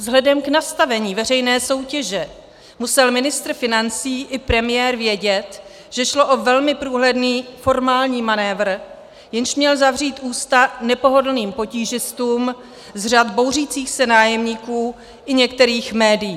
Vzhledem k nastavení veřejné soutěže musel ministr financí i premiér vědět, že šlo o velmi průhledný formální manévr, jenž měl zavřít ústa nepohodlným potížistům z řad bouřících se nájemníků i některých médií.